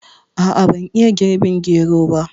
A'a ban iya girɓin gero ba